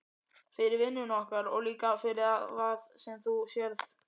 Fyrir vinnuna okkar og líka fyrir það sem þú sérð.